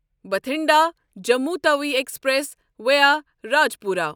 Bathinda Jammu Tawi express via Rajpura